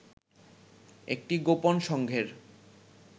একটি গোপন সংঘের